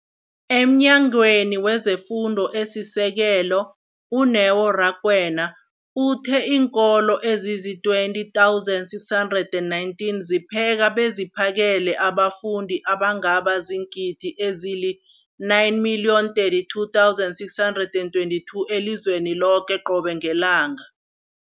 EmNyangweni wezeFundo esiSekelo, u-Neo Rakwena, uthe iinkolo ezizi-20 619 zipheka beziphakele abafundi abangaba ziingidi ezili-9 032 622 elizweni loke qobe ngelanga.